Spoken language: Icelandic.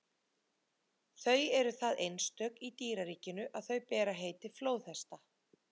Þau eru það einstök í dýraríkinu að þau bera heiti flóðhesta.